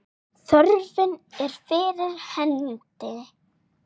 Þörfin er fyrir hendi.